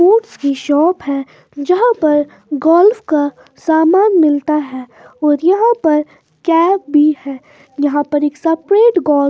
sports की shop है जहां पर गोल्फ का सामान मिलता है और यहां पर कैप भी है यहां पर एक सफेद गोल्फ --